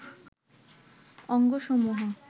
অঙ্গ সমূহ